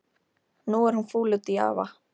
Nú er hún fúl út í afa.